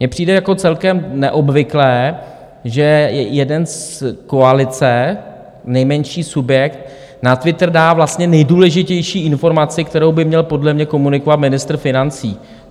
Mně přijde jako celkem neobvyklé, že jeden z koalice, nejmenší subjekt, na Twitter dá vlastně nejdůležitější informaci, kterou by měl podle mě komunikovat ministr financí.